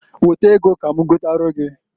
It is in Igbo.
Weta ego ka m gotara gi.